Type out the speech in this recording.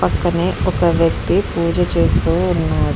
పక్కనే ఒక వ్యక్తి పూజ చేస్తూ ఉన్నాడు.